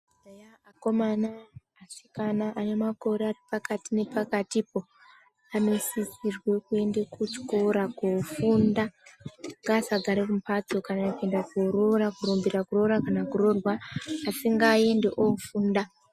Eya akomana asikana ane makore aripakati nepakatipo anosisirwe kuende kuchikora kofunda ngaasagara mumhatso kana kuenda koroora kurumbira kuroora kana koroorwa asi ngaaende ofunda.